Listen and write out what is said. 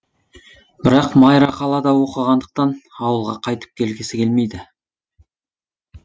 бірақ майра қалада оқығандықтан ауылға қайтып келгісі келмейді